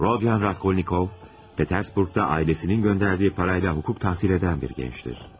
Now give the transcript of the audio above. Rodion Raskolnikov, Peterburqda ailəsinin göndərdiyi parayla hukuk təhsil edən bir gəncdir.